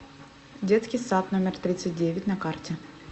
детский сад номер тридцать девять на карте